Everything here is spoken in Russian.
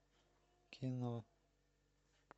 кино